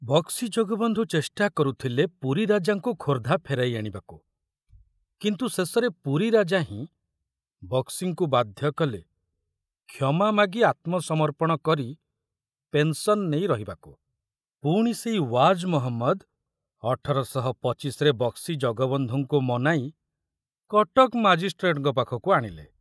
ବକ୍ସି ଜଗବନ୍ଧୁ ଚେଷ୍ଟା କରୁଥିଲେ ପୁରୀ ରାଜାଙ୍କୁ ଖୋର୍ଦ୍ଧା ଫେରାଇ ଆଣିବାକୁ , କିନ୍ତୁ ଶେଷରେ ପୁରୀ ରାଜା ହିଁ ବକ୍ସିଙ୍କୁ ବାଧ୍ୟ କଲେ କ୍ଷମା ମାଗି ଆତ୍ମସମର୍ପଣ କରି ପେନ୍‌ସନ୍‌ ନେଇ ରହିବାକୁ , ପୁଣି ସେଇ ୱାଜ ମହମ୍ମଦ ଅଠର ଶହ ପଚିଶ ରେ ବକ୍ସି ଜଗବନ୍ଧୁଙ୍କୁ ମନାଇ କଟକ ମାଜିଷ୍ଟ୍ରେଟଙ୍କ ପାଖକୁ ଆଣିଲେ।